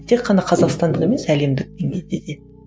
тек қана қазақстандық емес әлемдік деңгейде де